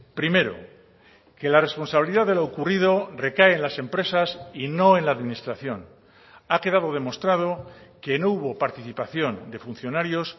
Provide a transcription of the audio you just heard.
primero que la responsabilidad de lo ocurrido recae en las empresas y no en la administración ha quedado demostrado que no hubo participación de funcionarios